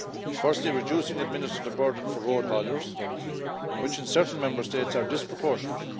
Firstly, reducing administrative burdens for road hauliers, which in certain Member States are disproportionate.